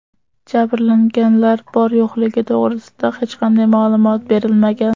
Jabrlanganlar bor-yo‘qligi to‘g‘risida hech qanday ma’lumot berilmagan.